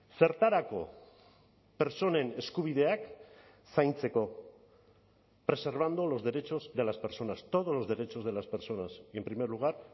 zertarako pertsonen eskubideak zaintzeko preservando los derechos de las personas todos los derechos de las personas y en primer lugar